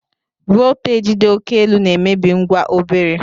Volteji dị oké elu na-emebi ngwa obere.